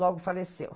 Logo faleceu.